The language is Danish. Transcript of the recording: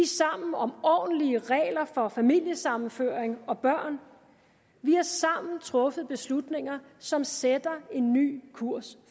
sammen om ordentlige regler for familiesammenføring og børn vi har sammen truffet beslutninger som sætter en ny kurs